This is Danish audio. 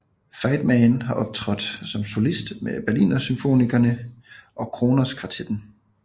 Feidman har optrådt som solist med Berlinersymfonikerne og Kronos Kvartetten